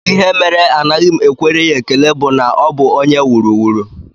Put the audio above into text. Ihe mere anaghị m ekwere ya ekele bụ na ọ bụ onye wuru wuru